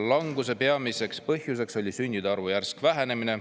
Languse peamiseks põhjuseks oli sündide arvu järsk vähenemine.